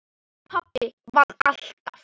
Pabbi vann alltaf.